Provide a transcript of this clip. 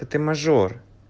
а ты мажор